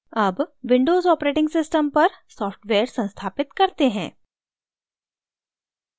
अब windows operating system पर software संस्थापित करते हैं